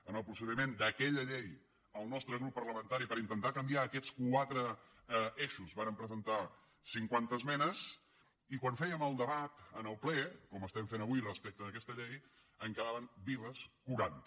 en el procediment d’aquella llei el nostre grup parlamentari per intentar canviar aquests quatre eixos vàrem presentar cinquanta esmenes i quan en fèiem el debat en el ple com estem fent avui respecte d’aquesta llei en quedaven vives quaranta